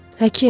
Həkim!